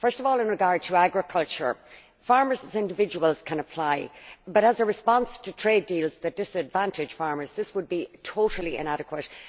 First of all, in regard to agriculture farmers as individuals can apply, but as a response to trade deals that disadvantage farmers this would be totally inadequate.